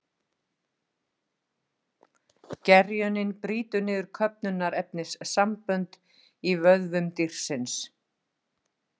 Gerjunin brýtur niður köfnunarefnissambönd í vöðvum dýrsins.